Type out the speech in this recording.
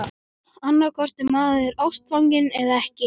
Annaðhvort er maður ástfanginn- eða ekki!